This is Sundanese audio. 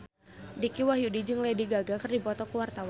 Dicky Wahyudi jeung Lady Gaga keur dipoto ku wartawan